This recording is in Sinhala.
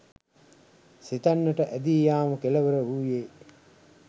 සිතන්නට ඇදී යාම කෙළවර වූයේ